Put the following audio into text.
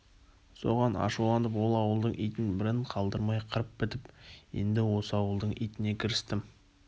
соған ашуланып ол ауылдың итін бірін қалдырмай қырып бітіп енді осы ауылдың итіне кірістім